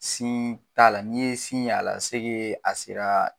Sin t' a la n'i ye sin ye a la a sera.